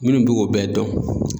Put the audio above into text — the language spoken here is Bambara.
Minnu be k'o bɛɛ dɔn